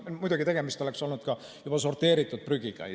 Muidugi, tegemist oleks olnud juba sorteeritud prügiga.